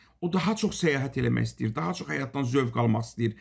O daha çox səyahət eləmək istəyir, daha çox həyatdan zövq almaq istəyir.